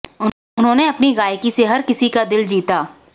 उन्होंने अपनी गायकी से हर किसी का दिल जीता